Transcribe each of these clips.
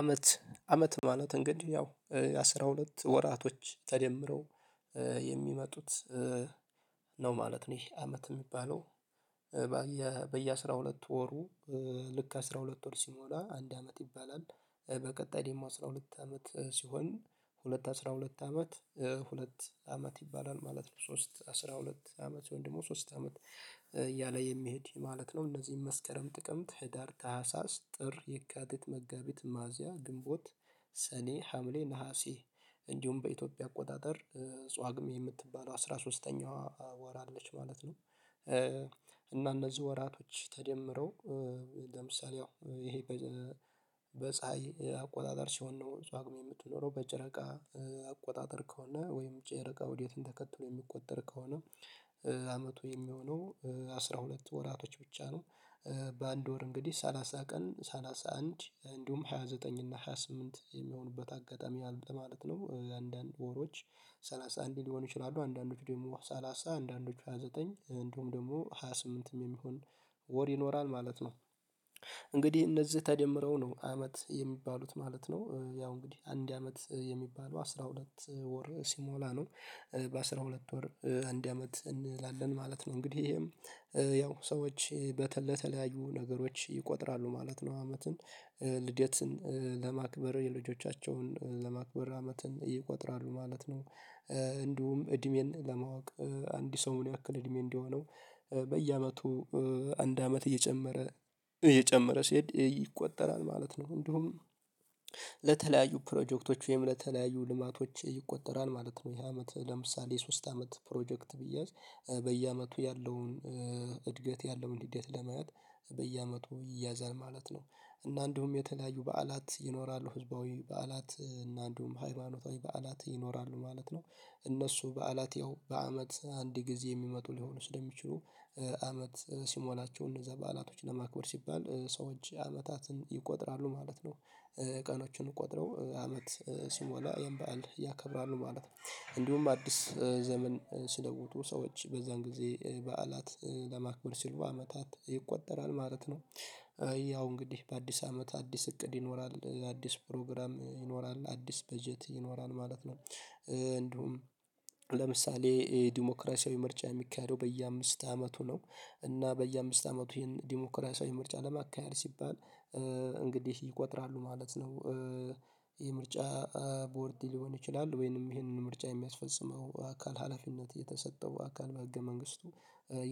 አመት ማለት እንግዲህ ያው አስራ ሁለት ወራቶች ተደምረው የሚመጡት ነው ማለት ነው ይሄ አመት የሚባለው በየአሥራ ሁለት ወሩ ልክ አስራ ሁለት ወር ሲሞላ አንድ አመት ይባላል፤ በቀጣይ ደግሞ አስራ ሁለት አመት ሲሆን ሁለት አስራ ሁለት አመት ሁለት አመት ይባላል ማለት ነው ሶስት አስራ ሁለት አመት ሲሆን ደግሞ ሶስት አመት እያለ የሚሄድ ማለት ነው እነዚህን መስከረም ጥቅምት ህዳር ታህሳስ ጥር የካቲት መጋቢት ሚያዚያ ግንቦት ሰኔ ሀምሌ ነሀሴ እንዲሁም በኢትዮጵያ አቆጣጠር ጿግሜ የምትባለው አስራ ሶስተኛዋ ወር አለች ማለት ነው። እና እነዚህ ወራቶች ተደምረው ለምሳሌ ይሄ በፀሀይ አቆጣጠር ሲሆን ነው ጿጉሜ የምትኖረው በጨረቃ አቆጣጠር ከሆነ ወይም ጨረቃ ዑዴትን ተከትሎ የሚቆጠር ከሆነ አመቱ የሚሆነው አስራ ሁለት ወራቶች ብቻ ነው። በአንድ ወር እንግዲህ ሰላሳ ቀን ሰላሳ አንድ እንዲሁም ሃያ ዘጠኝ እና ሃያ ስምንት የሚሆኑበት አጋጣሚ አለ ማለት ነው አንዳንድ ወሮች ሰላሳ አንድ ሊሆኑ ይችላሉ አንዳንዱ ደግሞ ሰላሳ አንዳንዶቹ ሃያ ዘጠኝ እንዲሁም ደግሞ ሃያ ስምንት ሃያ ስምንትም የሚሆን ወር ይኖራል ማለት ነው። እንግዲህ እነዚህ ተደምረው ነው አመት የሚባሉት ማለት ነው ያው እንግዲህ አንድ አመት የሚባለው አስራ ሁለት ወር ሲሞላ ነው። በአስራ ሁለት ወር አንድ አመት እንላለን ማለት ነው እንግዲህ ይሄም ያው ሰዎች በተለያዩ ነገሮች ይቆጥራሉ ማለት ነው አመትን ልደትን ለማክበር የልጆቻቸውን ለማክበር አመትን ይቆጥራሉ ማለት ነው። እንዲሁም እድሜን ለማወቅ አንድ ሰው ምን ያክል እድሜ እንደሆነው በየአመቱ አንድ አመት እየጨመረ ሲሄድ ይቆጠራል ማለት ነው። እንደሁም ለተለያዩ ፕሮጀክቶች ወይም ለተለያዩ ልማቶች ይቆጠራል ማለት ነው ይሄ አመት ለምሳሌ ሶስት አመት ፕሮጀክት ቢያዝ በየአመቱ ያለውን እድገት ያለውን ልደት ለማየት በየአመቱ ይያዛል ማለት ነው። እና እንደሁም የተለያዩ በዓላት ይኖራሉ ህዝባዊ በዓላት እና እንዲሁም ሃይማኖታዊ በዓላት ይኖራሉ ማለት ነው እነሱ በዓላት ይኸው በአመት አንድ ጊዜ የሚመጡ ሊሆኑ ስለሚችሉ አመት ሲሞላቸው እነዛ በዓላቶች ለማክበር ሲባል ሰዎች አመታትን ይቆጥራሉ ማለት ነው። ቀኖቹን ቆጥረው አመት ሲሞላ ይኸን በዓል ያከብራሉ ማለት ነው እንዲሁም አዲስ ዘመን ሲለውጡ ሰዎች በዛን ጊዜ በዓላት ለማክበር ሲልቮ አመታት ይቆጠራል ማለት ነው። ያው እንግዲህ በአዲስ አመት አዲስ እቅድ ይኖራል አዲስ ፕሮግራም ይኖራል አዲስ በጀት ይኖራል ማለት ነው። እንዲሁም ለምሳሌ የዲሞክራሲያዊ ምርጫ የሚካሄደው በየአምስት አመቱ ነው እና በየአምስት አመቱ ይህን ዲሞክራሲያዊ ምርጫ ለማካሄድ ሲባል እንግዲህ ይቆጥራሉ ማለት ነው፤ ይሄ ምርጫ ቦርድ ሊሆን ይችላል ወይንም ይሄንን ምርጫ የሚያስፈጽመው አካል ሀላፊነት የተሰጠው አካል በህገ መንግስቱ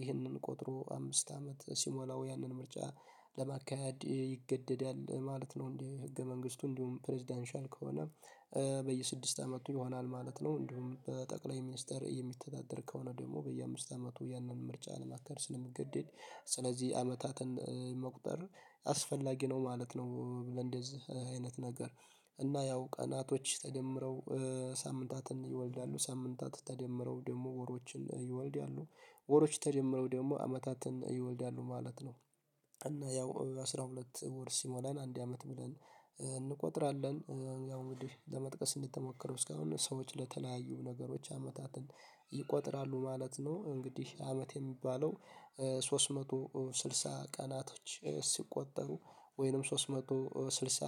ይህንን ቆጥሮ አምስት አመት ሲሞላው ያንን ምርጫ ለማካሄድ ይገደዳል ማለት ነው። እንዴ ህገ መንግስቱ እንዲሁም ፕሬዝዳንሻል ከሆነ በየስድስት አመቱ ይሆናል ማለት ነው። እንዲሁም በጠቅላይ ሚኒስተር የሚተዳደር ከሆነ ደግሞ በየአምስት አመቱ ያንን ምርጫ ለማካሄድጰስለሚገድድ ስለዚህ አመታትን መቁጠር አስፈላጊ ነው ማለት ነው። ብለን እንደዚህ አይነት ነገር እና ያው ቀናቶች ተደምረው ሳምንታትን ይወልዳሉ ሳምንታት ተደምረው ደግሞ ወሮችን ይወልዳሉ ወሮች ተደምረው ደግሞ አመታትን ይወልዳሉ ማለት ነው። እና ያው አስራ ሁለት ወር ሲሞላን አንድ አመት ብለን እንቆጥራለን ያው እንግዲህ ለመጥቀስ እንደተሞከረው እስካሁን ሰዎች ለተለያዩ ነገሮች አመታትን ይቆጥራሉ ማለት ነው። እንግዲህ አመት የሚባለው ሶስት መቶ ስልሳ ቀናቶች ሲቆጠሩ ወይንም ሶስት መቶ ስልሳ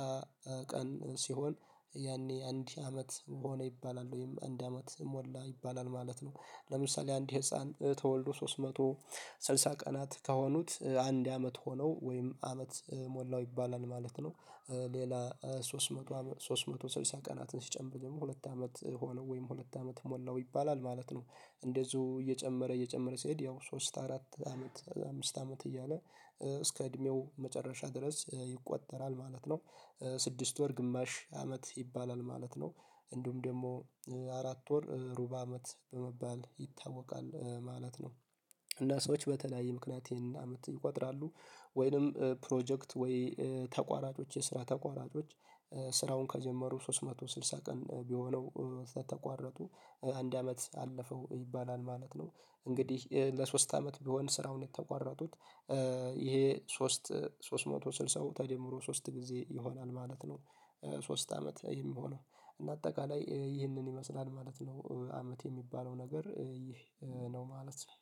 ቀን ሲሆን ያኔ አንድ አመት ሆነ ይባላል ወይም አንድ አመት ሞላ ይባላል ማለት ነው። ለምሳሌ አንድ ህፃን ተወልዶ ሶስት መቶ ስልሳ ቀናት ከሆኑት አንድ አመት ሆነው ወይም አመት ሞላው ይባላል ማለት ነው። ሌላ ሶስት መቶ ሶስት መቶ ስልሳ ቀናትን ሲጨንብጥም ሁለት አመት ሆነው ወይም ሁለት አመት ሞላው ይባላል ማለት ነው እንደዚሁ እየጨመረ እየጨመረ ሲሄድ ያው ሶስት አራት አመት አምስት አመት እያለ እስከ እድሜው መጨረሻ ድረስ ይቆጠራል ማለት ነው፤ ስድስት ወር ግማሽ አመት ይባላል ማለት ነው እንዲሁም ደግሞ አራት ወር ሩብ አመት በመባል ይታወቃል ማለት ነው። እና ሰዎች በተለያዩ ምክንያት ይሄን አመት ይቆጥራሉ፤ ወይንም ፕሮጀክት ወይ ተቋራጮች የስራ ተቋራጮች ስራውን ከጀመሩ ሶስት መቶ ስልሳ ቀን ቢሆነው ሳትቋረጡ አንድ አመት አለፈው ይባላል ማለት ነው። እንግዲህ ለሶስት አመት ቢሆን ስራውን የተቋረጡት ይሄ ሶስት ሶስት መቶ ስልሳ ተጀምሮ ሶስት ጊዜ ይሆናል ማለት ነው። ሶስት አመት ይሄ የሚሆነው እና አጠቃላይ ይህንን ይመስላል ማለት ነው አመት የሚባለው ነገር ይህ ነው ማለት ነው።